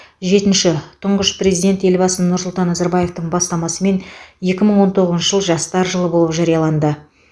жетінші тұңғыш президент елбасы нұрсұлтан назарбаевтың бастамасымен екі мың он тоғызыншы жыл жастар жылы болып жарияланды